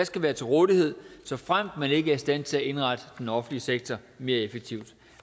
skal være til rådighed såfremt man ikke er i stand til at indrette den offentlige sektor mere effektivt